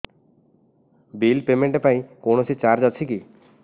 bill payment ପାଇଁ କୌଣସି charge ଅଛି କି